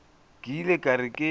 ke ile ka re ke